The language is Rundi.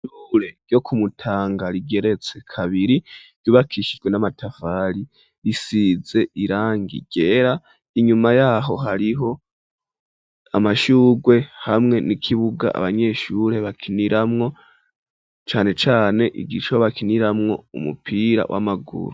Ishure ryo kumutanga ,rigeretse kabiri ,ry'ubakishijwe n'amatafali risize irangi ryera, inyuma yaho hariho amashugwe, hamwe n'ikibuga abanyeshure bakiniramwo ,cane cane ikigo bakiniramwo umupira w'amaguru,